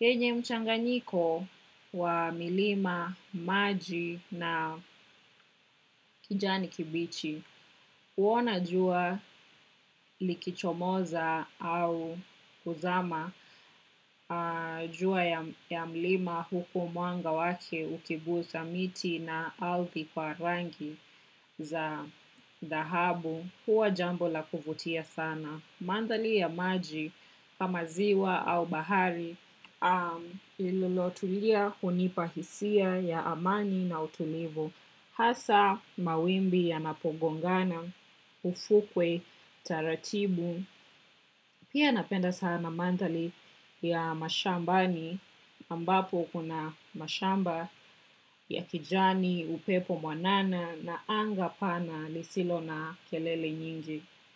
Yenye mchanganyiko wa milima, maji na kijani kibichi kuona jua likichomoza au kuzama. Jua ya mlima huku mwanga wake ukigusa miti na althi kwa rangi za dhahabu huwa jambo la kuvutia sana. Manthali ya maji kama ziwa au bahari lililotulia hunipa hisia ya amani na utulivu. Hasa mawimbi yanapogongana, ufukwe, taratibu. Pia napenda sana mandali ya mashambani ambapo kuna mashamba ya kijani upepo mwanana na anga pana lisilo na kelele nyingi.